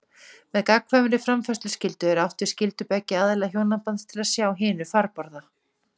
Með gagnkvæmri framfærsluskyldu er átt við skyldu beggja aðila hjónabands til að sjá hinu farborða.